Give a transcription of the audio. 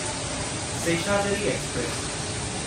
Seshadri express